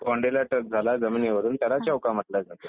बाउंड्रीला touch झाला जमिनीवरून त्याला चौका म्हटलं जातं